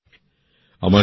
২৬শে সেপ্টেম্বর ২০২১